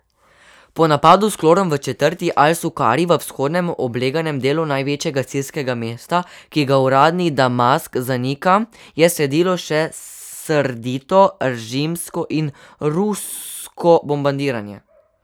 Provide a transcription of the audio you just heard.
Po napadu s klorom v četrti Al Sukari v vzhodnem, obleganem delu največjega sirskega mesta, ki ga uradni Damask zanika, je sledilo še srdito režimsko in rusko bombardiranje.